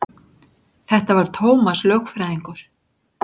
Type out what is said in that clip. Þetta var Tómas lögfræðingur.